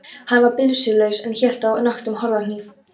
Hann var byssulaus en hélt á nöktum korðahníf.